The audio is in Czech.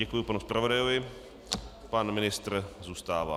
Děkuji panu zpravodajovi, pan ministr zůstává.